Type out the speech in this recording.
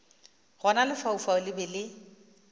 gona lefaufau le be le